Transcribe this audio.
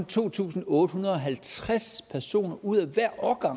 to tusind otte hundrede og halvtreds personer ud af hver årgang